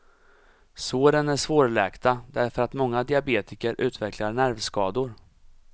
Såren är svårläkta därför att många diabetiker utvecklar nervskador.